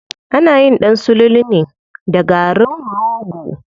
Anayin ɗan sululu ne da garin rogo.